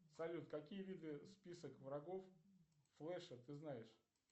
салют какие виды список врагов флэша ты знаешь